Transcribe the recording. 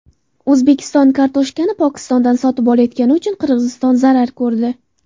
O‘zbekiston kartoshkani Pokistondan sotib olayotgani uchun Qirg‘iziston zarar ko‘rdi.